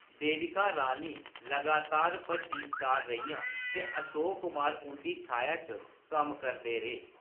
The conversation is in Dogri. देविका रानी लगातार बड्डी स्टार रेहियां, ते अशोक कुमार उंʼदी छाया च कम्म करदे रेह्।